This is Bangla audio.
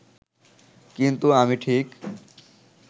কিন্তু আমি ঠিক